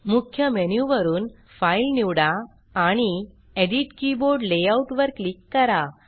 मुख्य मेनु वरुन फाइल निवडा आणि एडिट कीबोर्ड लेआउट वर क्लिक करा